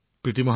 প্ৰীতি জী